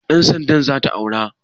Ɗan sanda zata aura?